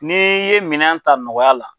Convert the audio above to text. N'i ye minɛn ta nɔgɔya la